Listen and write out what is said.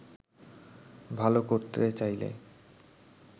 ভালো করতে চাইলে